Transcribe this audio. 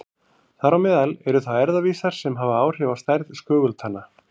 Þar á meðal eru þá erfðavísar sem hafa áhrif á stærð skögultanna.